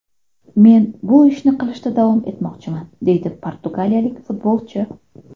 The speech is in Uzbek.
Men bu ishni qilishda davom etmoqchiman”, deydi portugaliyalik futbolchi.